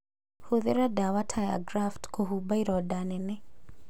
Hũthĩra ndawa ta ya graft kũhumba ironda nene